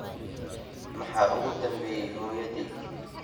maxaa ugu dambeeyay hooyaday